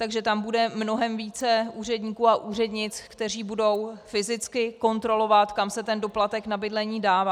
Takže tam bude mnohem více úředníků a úřednic, kteří budou fyzicky kontrolovat, kam se ten doplatek na bydlení dává.